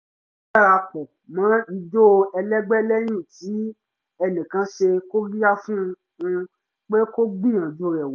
ó dara pọ̀ mọ́ ijó ẹlẹ́gbẹ́ lẹ́yìn tí enìkan ṣe kóríyá fún un pé kó gbíyanju rẹ̀ wò